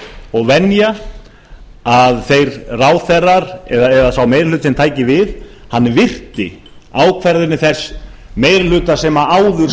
og venja að þeir ráðherrar eða þá meiri hlutinn tæki við hann virti ákvarðanir þess meiri hluta sem áður